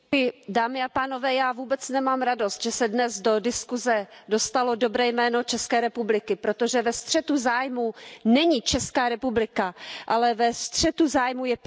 Pane předsedající, já vůbec nemám radost, že se dnes do diskuse dostalo dobré jméno České republiky, protože ve střetu zájmů není Česká republika, ale ve střetu zájmů je premiér.